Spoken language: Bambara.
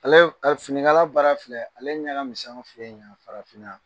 Ale fini kala baara filɛ ale ɲɛkaminsɛn anw fɛ ye ɲan farafinan.